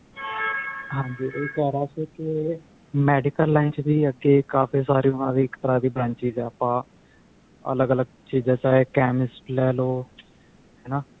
ਹਾਂਜੀ ਇਹ ਕਹਿ ਰਿਹਾ ਸੀ ਕੇ medical line ਚ ਵੀ ਅੱਗੇ ਕਾਫੀ ਸਾਰੇ ਉਹਨਾਂ ਦੀ ਇੱਕ ਤਰ੍ਹਾਂ ਦੀ branches ਆਪਾਂ ਅੱਲਗ ਅੱਲਗ ਚੀਜਾ ਚਾਹੇ chemist ਲੈ ਲੋ ਹਨਾ